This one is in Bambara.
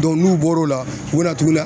n'u bɔr'o la u bɛna tugu la